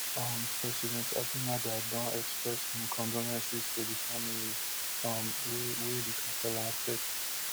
um president abinader don express im condolences to di families um wey wey di kasala affect